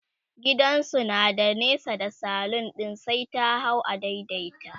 gidansu na da nesa da salon ɗin sai ta hau a daidaita